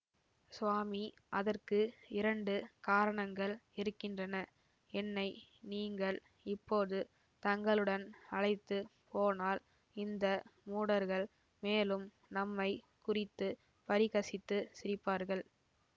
சுவாமி அதற்கு இரண்டு காரணங்கள் இருக்கின்றன என்னை நீங்கள் இப்போது தங்களுடன் அழைத்து போனால் இந்த மூடர்கள் மேலும் நம்மை குறித்து பரிகசித்துச் சிரிப்பார்கள்